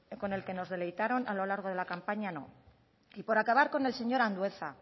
que con el que nos deleitaron a lo largo de la campaña no y por acabar con el señor andueza